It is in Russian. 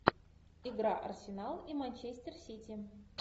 игра арсенал и манчестер сити